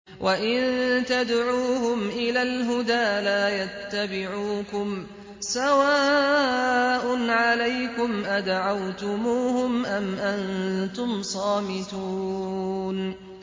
وَإِن تَدْعُوهُمْ إِلَى الْهُدَىٰ لَا يَتَّبِعُوكُمْ ۚ سَوَاءٌ عَلَيْكُمْ أَدَعَوْتُمُوهُمْ أَمْ أَنتُمْ صَامِتُونَ